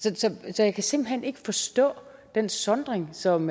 så jeg kan simpelt hen ikke forstå den sondring som